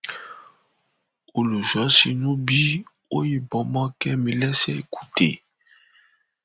ẹgbẹ òṣèlú apc búra fáwọn olóyè tuntun ní kwara